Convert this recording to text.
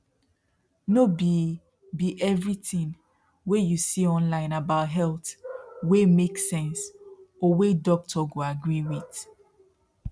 no be be everything wey you see online about health wey make sense or wey doctor go agree with